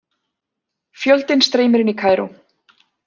Fjöldinn streymir inn í Kaíró